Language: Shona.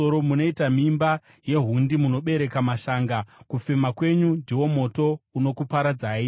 Munoita mimba yehundi, munobereka mashanga; kufema kwenyu ndiwo moto unokuparadzai.